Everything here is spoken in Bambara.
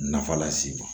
Nafa las'i ma